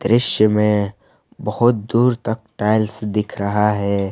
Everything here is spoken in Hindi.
दृश्य में बहोत दूर तक टाइल्स दिख रहा है।